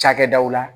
Cakɛdaw la